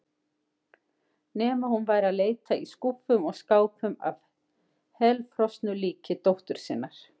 Nema hún væri að leita í skúffum og skápum að helfrosnu líki dóttur sinnar.